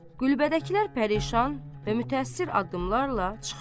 Qulbədəkilər pərişan və mütəəssir addımlarla çıxırlar.